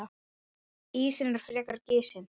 Ísinn er frekar gisinn.